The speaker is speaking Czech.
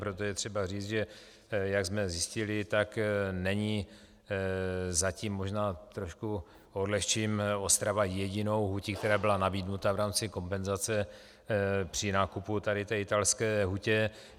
Proto je třeba říct, že, jak jsme zjistili, tak není zatím, možná trošku odlehčím, Ostrava jedinou hutí, která byla nabídnuta v rámci kompenzace při nákupu tady té italské hutě.